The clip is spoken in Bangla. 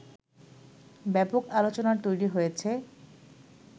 ব্যাপক আলোচনার তৈরী হয়েছে